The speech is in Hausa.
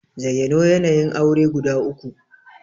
Zayyano yanayin aure guda uku?